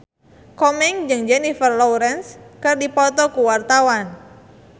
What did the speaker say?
Komeng jeung Jennifer Lawrence keur dipoto ku wartawan